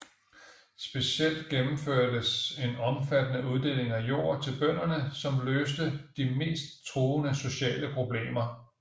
Specielt gennemførtes en omfattende uddeling af jord til bønderne som løste de mest truende sociale problemer